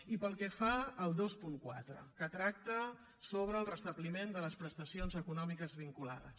i pel que fa al vint quatre que tracta sobre el restabliment de les prestacions econòmiques vinculades